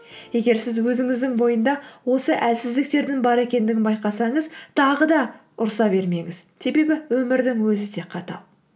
егер сіз өзіңіздің бойында осы әлсіздіктердің бар екендігін байқасаңыз тағы да ұрыса бермеңіз себебі өмірдің өзі де қатал